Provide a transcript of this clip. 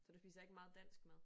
Så du spiser ikke meget dansk mad